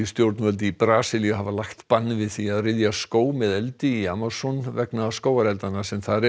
stjórnvöld í Brasilíu hafa lagt bann við því að ryðja skóg með eldi í Amazon vegna skógareldanna sem þar